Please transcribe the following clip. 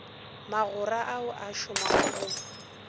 magora ao a šomago go